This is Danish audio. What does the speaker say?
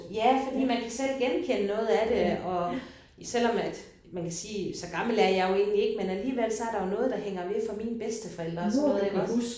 Ja fordi man kan selv genkende noget af det og selvom at man kan sige så gammel er jeg jo egentlig ikke men alligevel så er der jo noget der hænger ved fra mine bedsteforældre og sådan noget iggås